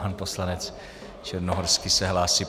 Pan poslanec Černohorský se hlásí.